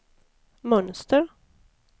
mönster